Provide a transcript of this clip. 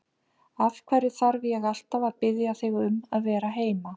Af hverju þarf ég alltaf að biðja þig um að vera heima?